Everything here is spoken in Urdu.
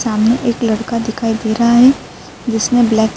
سامنے ایک لڑکا دکھائی دے رہا ہے جسنے بلیک --